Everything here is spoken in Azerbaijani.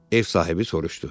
Ev sahibi soruşdu.